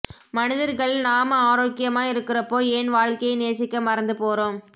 மனிதர்கள் நாம ஆரோக்கியமா இருக்குறப்போ ஏன் வாழ்க்கையை நேசிக்க மறந்து போறோம்